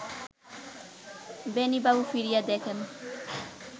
বেণীবাবু ফিরিয়া দেখেন